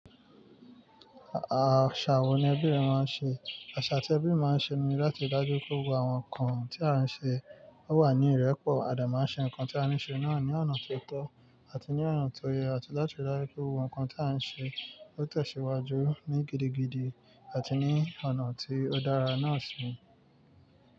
Àṣà wo ni ẹbí rẹ máa ń ṣe? Àṣà tí ẹbí máa ń ṣe ni láti dájú pé ohun àwọn nǹkan tí a ń ṣe ó wà ní ìrẹ́pọ̀. Ẹ̀dà máa ń ṣe nǹkan tí a ní ṣe náà ní ọ̀nà tó tọ́ àti ní ọ̀nà tó yẹ àti láti dájú pé ohun ìkan tí a ń ṣe ó tẹ̀síwájú ní gidigidi àti ní ọ̀nà tí ó dára náà sì ni.